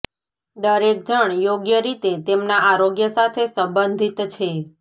દરેક જણ યોગ્ય રીતે તેમના આરોગ્ય સાથે સંબંધિત છે